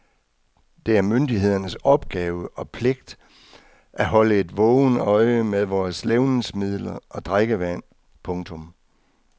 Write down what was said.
Det er myndighedernes opgave og pligt at holde et vågent øje med vores levnedsmidler og drikkevand. punktum